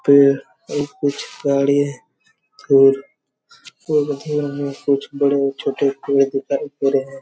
पेड़ और कुछ गाड़ी और बहुत दूर में कुछ बड़े-छोटे पेड़ दिखाई दे रहे है।